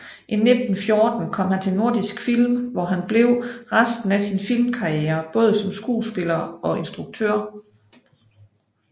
I 1914 kom han til Nordisk Film hvor han blev resten af sin filmkarriere både som skuespiller og instruktør